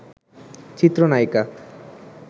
চিত্র নায়িকা